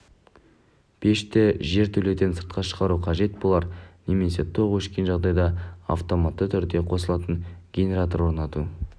пешті жертөледен сыртқа шығару қажет болар немесе тоқ өшкен жағдайда автоматты түрде қосылатын генератор орнату